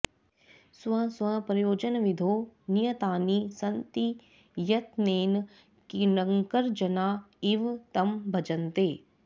स्वस्वप्रयोजनविधौ नियतानि सन्ति यत्नेन किङ्करजना इव तं भजन्ते